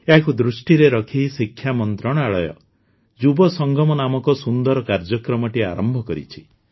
ଏହାକୁ ଦୃଷ୍ଟିରେ ରଖି ଶିକ୍ଷା ମନ୍ତ୍ରଣାଳୟ ଯୁବସଙ୍ଗମ ନାମକ ସୁନ୍ଦର କାର୍ଯ୍ୟକ୍ରମଟିଏ ଆରମ୍ଭ କରିଛି